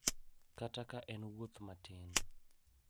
Kata ka en wuoth matin.